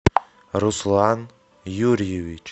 руслан юрьевич